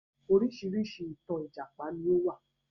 Oríṣiríṣi ìtàn ìjàpá ni ó wà.